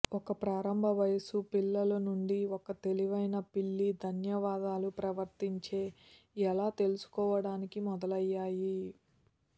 ఒక ప్రారంభ వయస్సు పిల్లలు నుండి ఒక తెలివైన పిల్లి ధన్యవాదాలు ప్రవర్తించే ఎలా తెలుసుకోవడానికి మొదలయ్యాయి